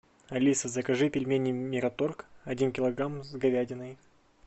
алиса закажи пельмени мираторг один килограмм с говядиной